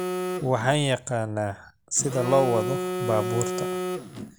Waaxan yaqanaa sida loo wado baburka